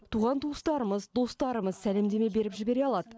туған туыстарымыз достарымыз сәлемдеме беріп жібере алады